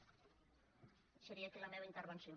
deixaria aquí la meva intervenció